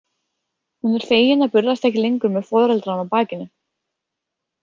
Hún er fegin að burðast ekki lengur með foreldrana á bakinu.